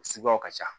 Suguyaw ka ca